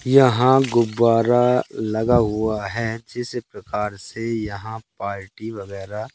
यहां गुब्बारा लगा हुआ है जिस प्रकार से यहां पार्टी वगैरा--